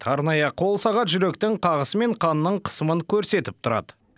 арнайы қолсағат жүректің қағысы мен қанның қысымын көрсетіп тұрады